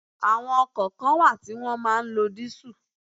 Àwọn ọkọ̀ kan wà tí wọn máa ń lọ diesel.